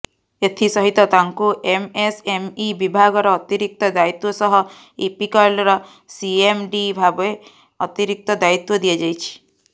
ଏଥିସହିତ ତାଙ୍କୁ ଏମଏସଏମଇ ବିଭାଗର ଅତିରିକ୍ତ ଦାୟିତ୍ୱ ସହ ଇପିକଲର ସିଏମଡି ଭାବେ ଅତିରିକ୍ତ ଦାୟିତ୍ୱ ଦିଆଯାଇଛି